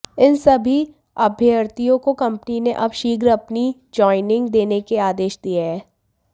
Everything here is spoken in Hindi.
इन सभी अभ्यर्थियों को कंपनी ने अब शीघ्र अपनी ज्वानिंग देने के आदेश दिए हैं